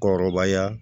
Kɔrɔbaya